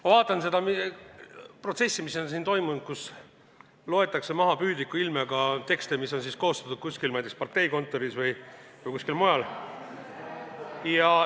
Ma vaatan seda protsessi, mis siin on toimunud ja kus püüdlikul ilmel loetakse maha tekste, mis on koostatud kusagil, ma ei tea, parteikontoris või kusagil mujal.